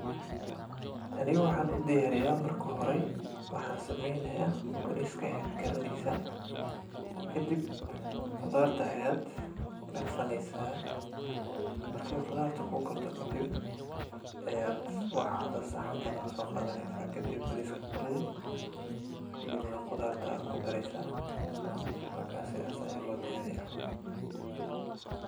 Taani waxan udiyariya marka xore, waxa sameyneya, bariska aya karineysa, kadib qudaarta ayad kudarsaneysa, markay qudaarta kukarto kadib, ayad waxa saxanka sogadaneysa, kadib bariiska kuridi, kadibna qudaarta aa kudareysa, so sidhas aya lodiyariya camal.